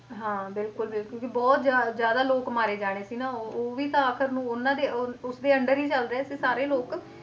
ਹਾਂ ਬਿਲਕੁਲ ਬਿਲਕੁਲ ਕਿਉਂਕਿ ਬਹੁਤ ਜ਼ਿਆ~ ਜ਼ਿਆਦਾ ਲੋਕ ਮਾਰੇ ਜਾਣੇ ਸੀ ਨਾ ਉਹ ਵੀ ਤਾਂ ਆਖ਼ਿਰ ਨੂੰ ਉਹਨਾਂ ਦੇ ਉਹ ਉਸਦੇ under ਹੀ ਚੱਲ ਰਹੇ ਸੀ ਸਾਰੇ ਲੋਕ